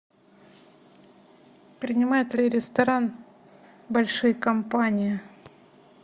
принимает ли ресторан большие компании